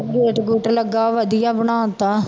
Gate ਗੂਟ ਲੱਗਾ ਵਧਿਆ ਬਣਾ ਦਿੱਤਾ।